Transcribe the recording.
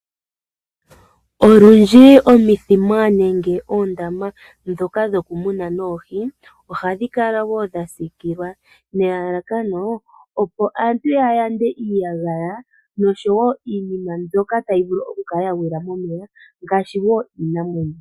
Olundji omithima nenge oondama ndhoka dhokumuna oohi ohadhi kala wo dha siikilwa nelalakano, opo aantu ya yande iiyagaya nosho wo iinima mbyoka tayi vulu okukala ya gwila momeya ngaashi iinamwenyo.